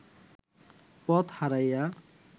পথ হারাইয়া